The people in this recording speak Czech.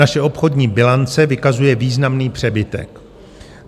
Naše obchodní bilance vykazuje významný přebytek.